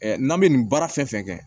n'an bɛ nin baara fɛn fɛn kɛ